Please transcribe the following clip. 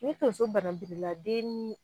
Ni tonso badanpirila den nii